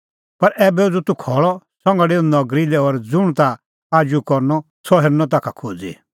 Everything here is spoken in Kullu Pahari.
पर ऐबै उझ़ू तूह खल़अ संघा डेऊ नगरी लै और ज़ुंण ताह आजू करनअ सह हेरनअ ताखा खोज़ी